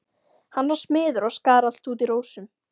Hann var smiður og skar allt út í rósum.